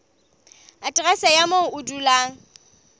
aterese ya moo o dulang